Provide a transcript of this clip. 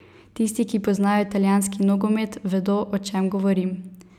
Tisti, ki poznajo italijanski nogomet, vedo, o čem govorim.